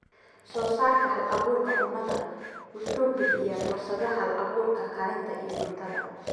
Soosaarka Hal-abuurka Cunnada wuxuu bixiyaa fursadaha hal-abuurka karinta iyo cuntada.